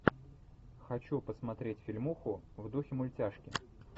хочу посмотреть фильмуху в духе мультяшки